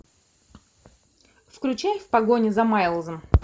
включай в погоне за майлзом